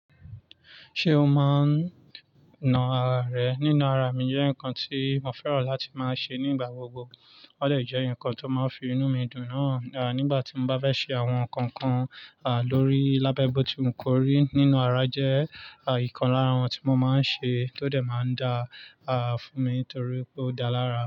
Ṣé o máa ń na ara rẹ? Nína ara mi jẹ́ nǹkan tí mo fẹ́ràn láti máa ṣe nígbà gbogbo. Ó dè jẹ́ ǹkan tó máa ń fi inú mi dùn náà nígbà tí mo bá fẹ́ ṣe àwọn nǹkan kan lórí lábẹ́boti wu kóri Nína ara jẹ́ nǹkan lára àwọn tí mo máa ń ṣe tó dẹ̀ máa dá a fún mi torí pé ó dá lara.